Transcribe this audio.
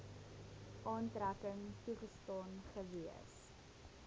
aftrekking toegestaan gewees